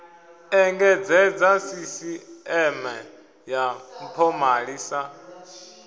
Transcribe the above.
engedzedza sisiṱeme ya mpomali sa